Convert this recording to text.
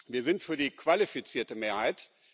Wir sind für die qualifizierte Mehrheit.